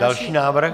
Další návrh.